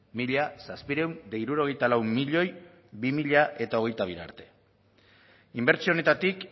mila zazpiehun eta hirurogeita lau milioi bi mila hogeita bira arte inbertsio honetatik